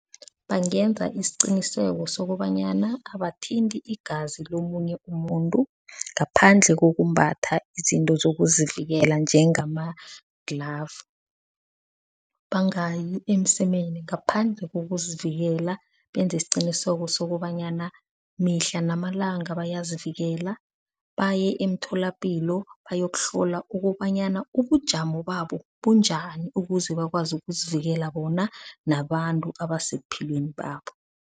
Bangenza isiqiniseko sokobanyana abathinti igazi lomunye umuntu ngaphandle kokumbatha izinto zokuzivikela njengama-glove. Bangayi emsemeni ngaphandle kokuzivikela. Benze isiqiniseko sokobanyana mihla namalanga bayazivikela. Baye emtholapilo bayokuhlola, ukobanyana ubujamo babo bunjani? Ukuze bakwazi ukuzivikela bona nabantu abasebuphilweni babo